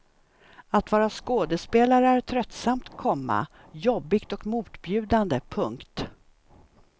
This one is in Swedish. Att vara skådespelare är tröttsamt, komma jobbigt och motbjudande. punkt